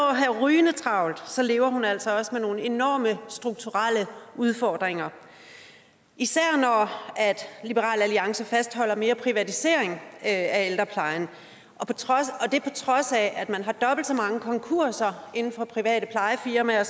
at have rygende travlt så lever hun altså også med nogle enorme strukturelle udfordringer især når liberal alliance fastholder mere privatisering af ældreplejen og det på trods af at man har dobbelt så mange konkurser inden for private plejefirmaer